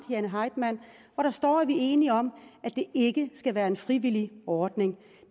jane heitmann hvor der står at vi er enige om at det ikke skal være en frivillig ordning